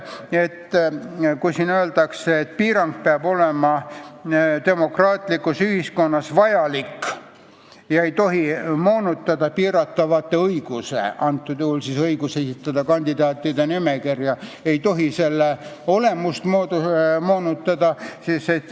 Teine lause siin ütleb, et piirang peab olema demokraatlikus ühiskonnas vajalik ega tohi moonutada piiratava õiguse, antud juhul kandidaatide nimekirja esitamise õiguse olemust.